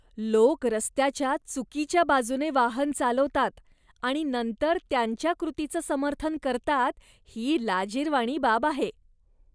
लोक रस्त्याच्या चुकीच्या बाजूने वाहन चालवतात आणि नंतर त्यांच्या कृतीचं समर्थन करतात ही लाजिरवाणी बाब आहे.